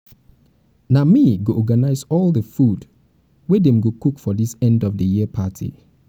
na me go organize all the food wey dem go cook for this end of the year party